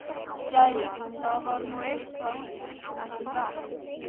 Jæja, það varð nú eitthvað úr mér, ekki satt?